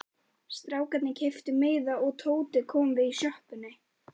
Strákarnir keyptu miða og Tóti kom við í sjoppunni.